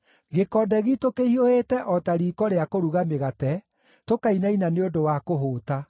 Gĩkonde giitũ kĩhiũhĩte o ta riiko rĩa kũruga mĩgate, tũkainaina nĩ ũndũ wa kũhũũta.